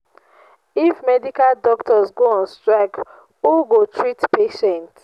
if medical doctors go on strike who go treat patients